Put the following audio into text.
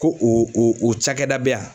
Ko o o o cakɛda bɛ yan